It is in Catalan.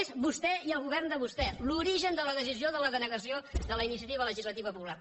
és vostè i el govern de vostè l’origen de la decisió de la denegació de la iniciativa legislativa popular